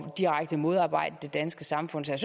direkte modarbejde det danske samfund så